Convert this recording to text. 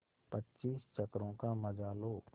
पच्चीस चक्करों का मजा लो